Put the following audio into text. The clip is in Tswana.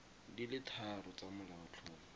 di le tharo tsa molaotlhomo